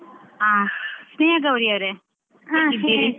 ಆ ಸ್ನೇಹ ಗೌರಿ ಅವ್ರೇ. ?